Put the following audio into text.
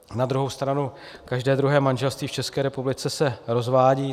Na druhou stranu každé druhé manželství v České republice se rozvádí.